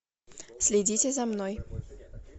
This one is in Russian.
следите за мной